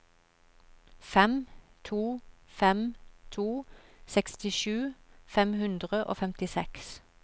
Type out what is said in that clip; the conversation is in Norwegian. fem to fem to sekstisju fem hundre og femtiseks